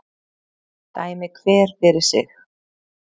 Dæmi hver fyrir sig